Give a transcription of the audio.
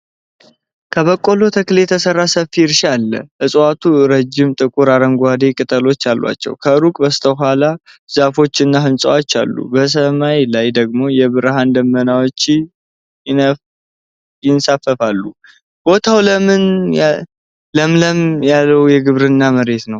ከበቆሎ ተክል የተሰራ ሰፊ እርሻ አለ። እፅዋቱ ረጅም፣ ጥቁር አረንጓዴ ቅጠሎች አሏቸው። ከሩቅ በስተኋላ ዛፎችና ሕንፃዎች አሉ። በሰማይ ላይ ደግሞ የብርሃን ደመናዎች ይንሳፈፋሉ። ቦታው ለምነት ያለው የግብርና መሬት ነው።